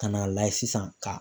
Ka n'a layɛ sisan ka